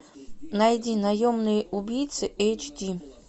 найди наемный убийца эйч ди